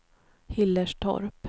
Hillerstorp